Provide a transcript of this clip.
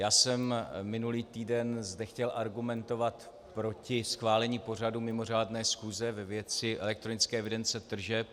Já jsem minulý týden zde chtěl argumentovat proti schválení pořadu mimořádné schůze ve věci elektronické evidence tržeb.